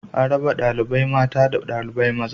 A raba ɗalibai mata daban da ɗalibai maza